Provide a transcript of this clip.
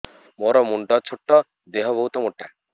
ମୋର ମୁଣ୍ଡ ଛୋଟ ଦେହ ବହୁତ ମୋଟା